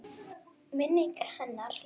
Minning hennar lifir.